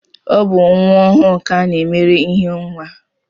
Ọ bụ nwa ọhụụ ka a na-emere ihe nwa